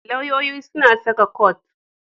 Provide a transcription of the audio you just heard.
Lauyoyi suna saka kot.